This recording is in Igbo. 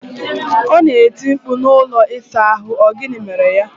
Ona eti mkpu na ụlọ ịsa ahu, O gini mere ya?